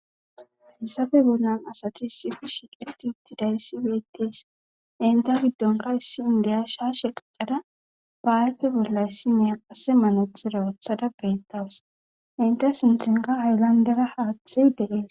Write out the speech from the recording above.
hayissappe bollan asati sifishi qeti utti dayssi beettees inta giddonka issi indeya sha sheqqada ba7aype bollayssi miya qase manothera othada beettawus inte sinthenka hayllandera haaththey deees